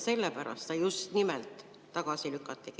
Sellepärast see just nimelt tagasi lükatigi.